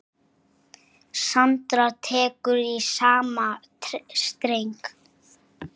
Sandra tekur í sama streng.